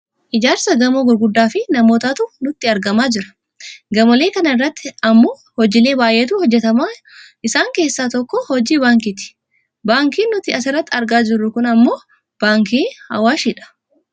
ijaarsa gamoo gurguddaafi namootatu nutti argamaa jira . gamoolee kana irratti ammoo hojiilee baayyeetu hojjatama isaan keessaan tokko hojii baankiiti. Baankiin nuti asirratti argaa jirru kun ammoo baankii awaashi dha.